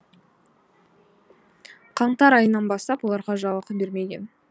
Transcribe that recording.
қаңтар айынан бастап оларға жалақы бермеген